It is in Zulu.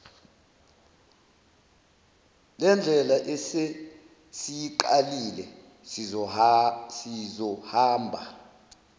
lendlela esesiyiqalile sizohamba